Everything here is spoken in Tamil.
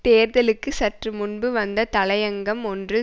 தேர்தலுக்கு சற்று முன்பு வந்த தலையங்கம் ஒன்றில்